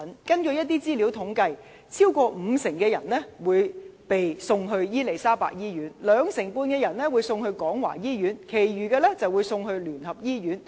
根據一些統計資料，超過五成患者會被送往伊利沙伯醫院，兩成半患者會被送往廣華醫院，其餘則被送往基督教聯合醫院。